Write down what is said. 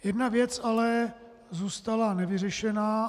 Jedna věc ale zůstala nevyřešena.